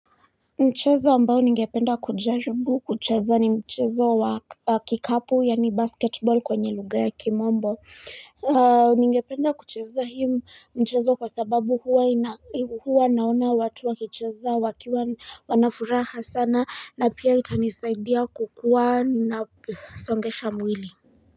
Mchezo ambao ningependa kujaribu kucheza ni mchezo wa kikapu yaani basketbol kwenye lugha ya kimombo Ningependa kucheza hii mchezo kwa sababu huwa ina huwa naona watu wakicheza wakiwa wana furaha sana na pia itanisaidia kukuwa nasongesha mwili.